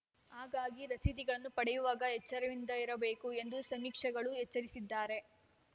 ಹಾಗಾಗಿ ರಸೀದಿಗಳನ್ನು ಪಡೆಯುವಾಗ ಎಚ್ಚರಿಕೆಯಿಂದಿರಬೇಕು ಎಂದು ಸಮೀಕ್ಷೆಗಳು ಎಚ್ಚರಿಸಿದ್ದಾರೆ